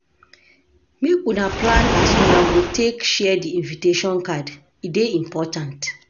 Make una plan as una go take share di invitation card, e dey important.